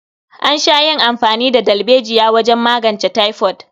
An sha yin amfani da dalbejiya wajen magance taifod.